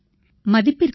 தொலைபேசி அழைப்பு 1